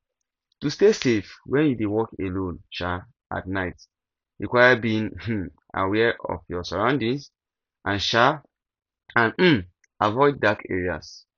to stay safe when you dey walk alone um at night require being um aware of your surroundings and um and um avioding dark areas